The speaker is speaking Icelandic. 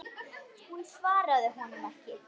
Hún svaraði honum ekki.